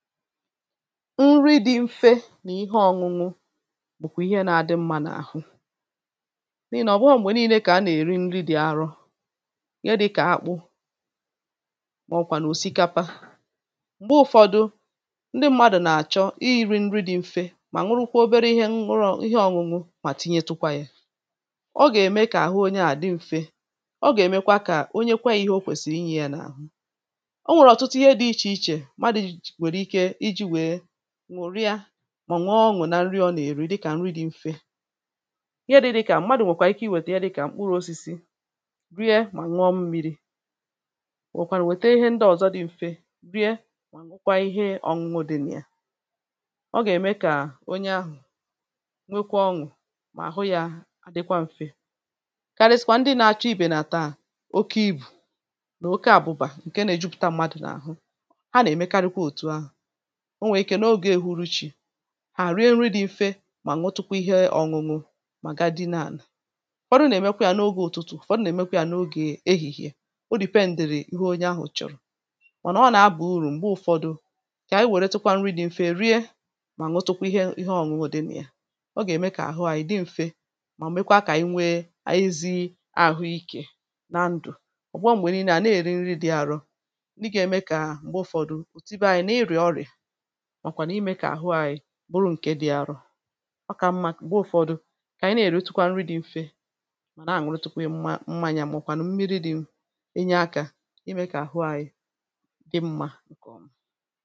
nri dị̇ mfe na ihe ọ̇ñụ̇ñụ̇ bụ̀kwà ihe nȧ-adị mmȧ n’àhụ n’ihì nà ọ̀ bụahọ̇ m̀gbè niilė kà a nà-èri nri dị̀ arọ ihe dị̇kà akpụ màọ̀wà nà òsikapa m̀gbe ụ̇fọ̇dụ̇ ndị mmadụ̀ nà-àchọ ihi̇ri̇ nri dị̇ mfe mà nwụrụkwa obere ihe nwụrụ ihe ọ̇ñụ̇ñụ̇ mà tinye tụkwa yȧ ọ gà-ème kà àhụ onye à dị m̀fe ọ gà-èmekwa kà onye kwa ihe okwèsìrì inyė yȧ n’àhụ nwòrịa mà nwee ọṅụ̀ na nri ọ nà-èri dịkà nri dị mfe ihe dị dịkà mmadụ̀ nwèkwà ike iwètè ihe dịkà mkpụrụosisi rie mà nwụọ mmi̇ri wèkwà nwète ihe ndị ọ̀zọ dị mfe rie mà nwụkwa ihe ọ̀ṅụdị nà ya ọ gà-ème kà onye ahụ̀ nwekwa ọṅụ̀ mà àhụ yȧ àdịkwa mfe karịsịkwa ndị na-achọ ibè nà-àta à oke ibù nà oke àbụbà ǹke nà-èjupụta mmadụ̀ n’àhụ o nwèrè ike n’ogè èhuruchi̇ hà rie nri dị̇ mfe mà nwetụkwa ihe ọ̀ñụ̀ñụ̀ mà ga di naȧnà ụ̀fọdụ nà-èmekwa yȧ n’ogè ụ̀tụtụ̀ ụ̀fọdụ nà-èmekwa yȧ n’ogè ehihie, o dì pe ǹdèrè ihe onye ahụ̀ chọ̀rọ̀ mànà ọ nà-abà urù m̀gbe ụ̇fọdụ kà ànyị wèrè tukwa nri dị̇ mfe rie mà nwetụkwa ihe ihe ọ̀ñụ̀ñụ̀ dị nà ya ọ gà-ème kà àhụ ànyị dị mfe mà m̀ mekwaa kà i nwee ànyị zi̇ àhụ ikė nà ndụ̀ ọ̀ gwa m̀gbè nii̇nė à na-èri nri dị̇ àrọ nị gà-ème kà m̀gbe ụ̇fọdụ bụrụ ǹke dị̀ arọ̇ ọ kà mma gbụọ ụ̀fọdụ kà ànyị na-èròtukwa nri dị̇ mfe màna ànwụrụ tupu ihe mma mmanya màkwà nà mmi̇ri dị̇ enyė aka imė kà àhụ anyị dị̇ mma.